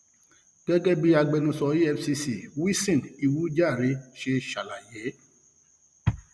gẹgẹ bí agbẹnusọ efcc wilson uwu jahre ṣe ṣàlàyé